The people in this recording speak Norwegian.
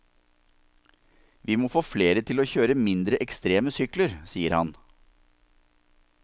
Vi må få flere til å kjøre mindre ekstreme sykler, sier han.